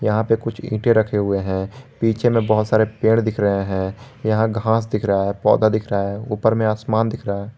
यहां पे कुछ ईंटे रखे हुए हैं पीछे में बहोत सारे पेड़ दिख रहे हैं यहां घास दिख रहा है पौधा दिख रहा है ऊपर में आसमान दिख रहा है।